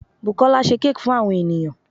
Bùkólá se cake fún àwon ènìyãn